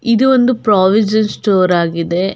ಇದೊಂದು provision store ಆಗಿದೆ.